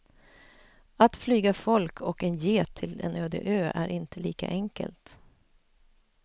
Att flyga folk och en get till en öde ö är inte lika enkelt.